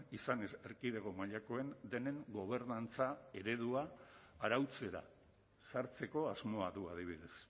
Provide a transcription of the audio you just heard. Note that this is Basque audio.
izan erkidego mailakoen denen gobernantza eredua arautzera sartzeko asmoa du adibidez